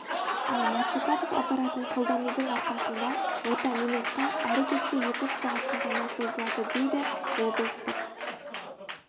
ал мацукатов аппаратын қолданудың арқасында ота минутқа әрі кетсе екі-үш сағатқа ғана созылады дейді облыстық